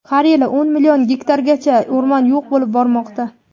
har yili o‘n million gektargacha o‘rmon yo‘q bo‘lib bormoqda.